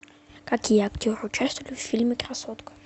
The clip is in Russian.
какие актеры участвовали в фильме красотка